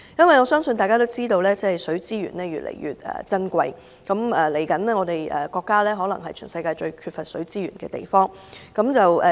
我相信大家也知道，水資源越來越珍貴，我國未來可能是全世界最缺乏水資源的地方。